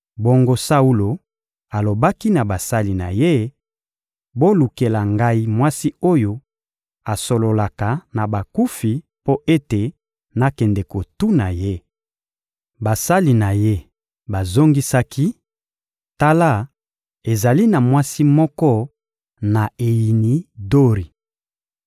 Bongo, Saulo alobaki na basali na ye: — Bolukela ngai mwasi oyo asololaka na bakufi mpo ete nakende kotuna ye. Basali na ye bazongisaki: — Tala, ezali na mwasi moko na Eyini-Dori.